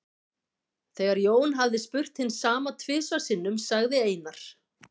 Þegar Jón hafði spurt hins sama tvisvar sinnum sagði Einar